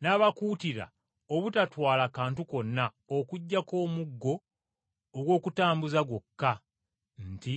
N’abakuutira obutatwala kantu konna okuggyako omuggo ogw’okutambuza gwokka nti,